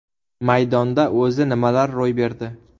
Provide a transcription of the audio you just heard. Maydonda o‘zi nimalar ro‘y berdi?